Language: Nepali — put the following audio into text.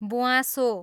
ब्वाँसो